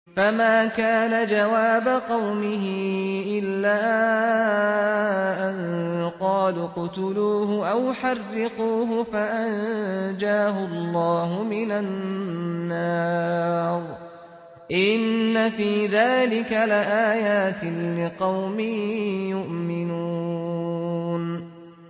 فَمَا كَانَ جَوَابَ قَوْمِهِ إِلَّا أَن قَالُوا اقْتُلُوهُ أَوْ حَرِّقُوهُ فَأَنجَاهُ اللَّهُ مِنَ النَّارِ ۚ إِنَّ فِي ذَٰلِكَ لَآيَاتٍ لِّقَوْمٍ يُؤْمِنُونَ